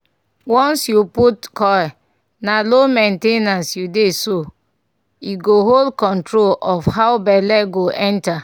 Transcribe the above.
once you put coil na low main ten ance u dey so- e go hold control of how belle go enter